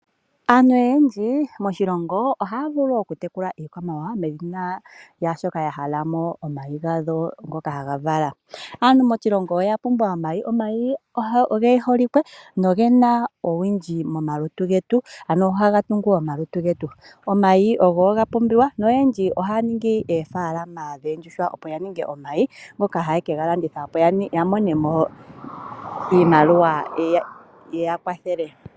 Aantu oyendji moshilongo ohaya vulu okutekula iikwamawawa, molwashoka ya hala ko omayi gadho ngoka hadhi vala. Aantu moshilongo oya pumbwa omayi. Omayi oge holike noge na omawuwanawa ogendji momalutu getu. Ohaga tungu omalutu getu. Omayi oga pumbiwa noyendji ohaya ningi oofaalama dhoondjuhwa opo ya ninge omayi, ngoka haye ke ga landitha po, opo ya mone mo iimaliwa yi ya kwathele.